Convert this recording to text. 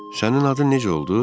Sənin adın necə oldu?